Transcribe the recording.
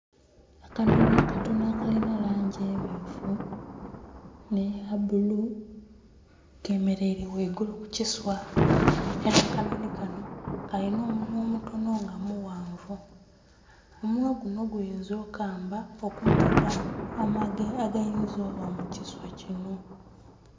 Akanonhi akatonho akalina langi emyufu nhe ya bulu ke mereire ghaigulu ku kisaa era akanonhi kanho kalina omunhwa omutonho nga mughanvu omunhwa gunho guyinza okukamba okumodha amage agayinza okuba mu kiswa kinho.